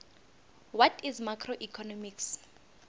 what is macroeconomics